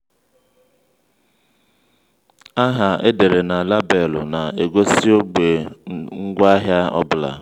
aha edere na labelụ na-egosi ogbe ngwaahịa ọ bụla.